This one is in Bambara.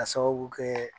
Ka sababu kɛ